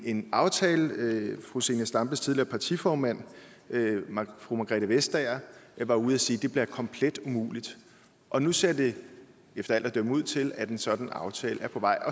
en aftale fru zenia stampes tidligere partiformand fru margrethe vestager var ude og sige at det bliver komplet umuligt og nu ser det efter alt at dømme ud til at en sådan aftale er på vej